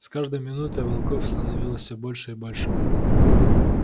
с каждой минутой волков становилось всё больше и больше